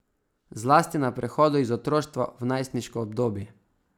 Zlasti na prehodu iz otroštva v najstniško obdobje.